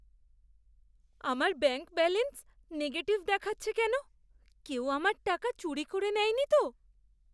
আমার bank balance negative দেখাচ্ছে কেন? কেউ আমার টাকা চুরি করে নেয়নি তো?